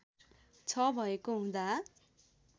छ भएको हुँदा